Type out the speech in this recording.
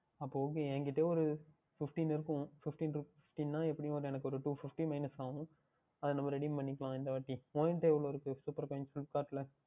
அப்பொழுது Okay என்னிடம் ஓர் Fifteen இருக்கும் Fifteen என்றால் எப்படி என்றாலும் எனக்கு ஓர் Two Fifty Minus ஆகும் அது நாம் Redeem பண்ணிக்கொள்ளலாம் இந்தவாட்டி உங்களிடம் எவ்வளவு Supercoins இருக்கின்றது Flipkart யில்